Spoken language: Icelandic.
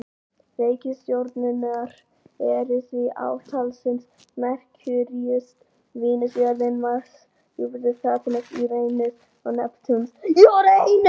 Reikistjörnurnar eru því átta talsins: Merkúríus, Venus, jörðin, Mars, Júpíter, Satúrnus, Úranus og Neptúnus.